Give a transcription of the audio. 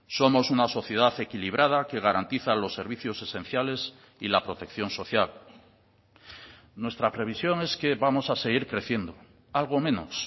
somos una sociedad equilibrada que garantiza los servicios esenciales y la protección social nuestra previsión es que vamos a seguir creciendo algo menos